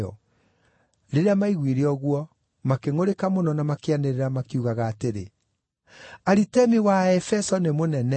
Rĩrĩa maaiguire ũguo, makĩngʼũrĩka mũno na makĩanĩrĩra, makiugaga atĩrĩ: “Aritemi wa Aefeso nĩ mũnene!”